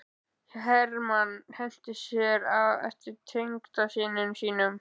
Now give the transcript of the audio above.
Hermann henti sér á eftir tengdasyni sínum.